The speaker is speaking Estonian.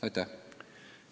Aitäh!